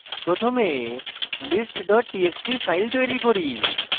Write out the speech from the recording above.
প্রথমে list txt txt file তৈরী করি